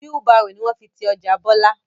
Wheel Barrow ni wọ́n fi ti ọjà bọlá